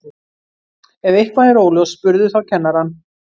Ef eitthvað er óljóst spurðu þá kennarann.